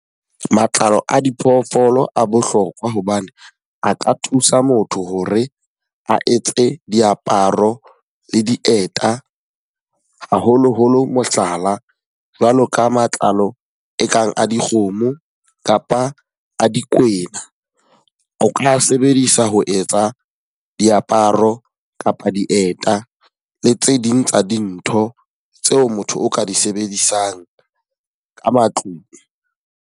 Matlalo a diphoofolo a bohlokwa hobane a ka thusa motho hore a etse diaparo le dieta. Haholoholo mohlala, jwalo ka matlalo e kang a dikgomo kapa a dikwena. O ka a sebedisa ho etsa diaparo kapa dieta, le tse ding tsa dintho tseo motho o ka di sebedisang ka matlung.